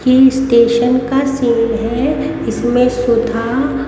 की स्टेशन का सीन है इसमें सुधा।